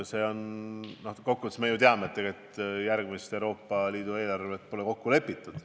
Üldiselt me ju teame, et tegelikult järgmist Euroopa Liidu eelarvet pole kokku lepitud.